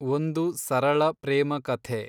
ಒಂದು ಸರಳ ಪ್ರೇಮ ಕಥೆ